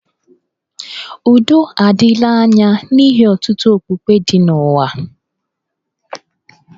Udo adịla anya n'ihi ọtụtụ okpukpe dị n'ụwa